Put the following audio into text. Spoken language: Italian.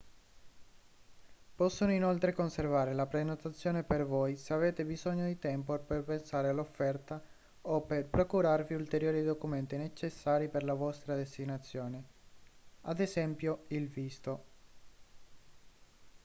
possono inoltre conservare la prenotazione per voi se avete bisogno di tempo per pensare all’offerta o per procurarvi ulteriori documenti necessari per la vostra destinazione ad es. il visto